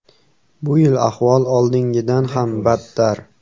Bu yil ahvol oldingidan ham badtar.